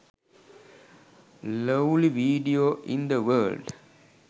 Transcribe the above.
lovely video in the world.